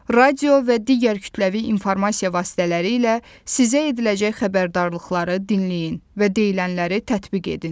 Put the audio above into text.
Radio və digər kütləvi informasiya vasitələri ilə sizə ediləcək xəbərdarlıqları dinləyin və deyilənləri tətbiq edin.